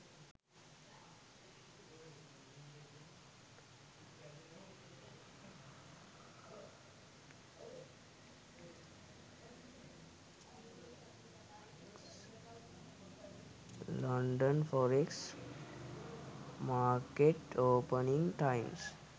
london forex market opening times